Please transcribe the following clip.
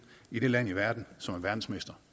i det land i verden som er verdensmester